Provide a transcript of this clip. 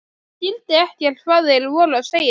Ég skildi ekkert hvað þeir voru að segja.